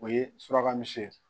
O ye suraka misi ye